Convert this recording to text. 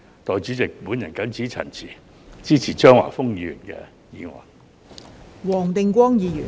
代理主席，我謹此陳辭，支持張華峰議員的議案。